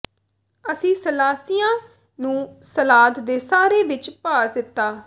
ਅਸੀਂ ਸਲਾਸੀਆਂ ਨੂੰ ਸਲਾਦ ਦੇ ਸਾਰੇ ਵਿੱਚ ਪਾ ਦਿੱਤਾ